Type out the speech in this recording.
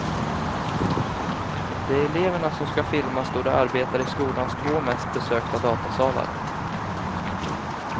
Det är eleverna som ska filmas då de arbetar i skolans två mest besökta datasalar.